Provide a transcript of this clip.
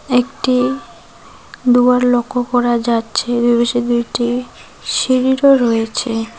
একটি দুয়ার লক্ষ করা যাচ্ছে দুপাশে দুটি সিঁড়িরও রয়েছে।